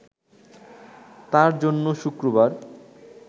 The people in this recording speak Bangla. তার জন্য শুক্রবার